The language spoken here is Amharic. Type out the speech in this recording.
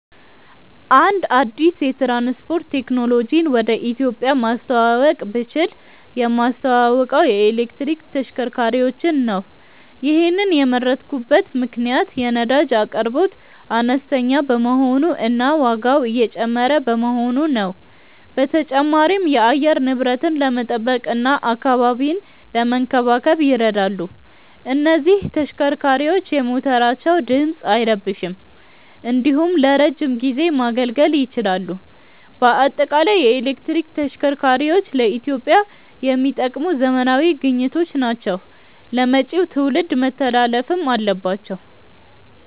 አንድ አዲስ የትራንስፖርት ቴክኖሎጂን ወደ ኢትዮጵያ ማስተዋወቅ ብችል የማስተዋውቀው የኤሌክትሪክ ተሽከርካሪዎችን ነው። ይሔንን የመረጥኩበት ምክንያት የነዳጅ አቅርቦት አነስተኛ በመሆኑ እና ዋጋው እየጨመረ በመሆኑ ነው። በተጨማሪም የአየር ንብረትን ለመጠበቅ እና አካባቢን ለመንከባከብ ይረዳሉ። እነዚህ ተሽከርካሪዎች የሞተራቸው ድምፅ አይረብሽም እንዲሁም ለረዥም ጊዜ ማገልገል ይችላሉ። በአጠቃላይ የኤሌክትሪክ ተሽከርካሪዎች ለኢትዮጵያ የሚጠቅሙ ዘመናዊ ግኝቶች ናቸው ለመጪው ትውልድ መተላለፍም አለባቸው።